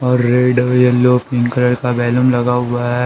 और रेड और yellow pink colour का वैलम लगा हुआ है।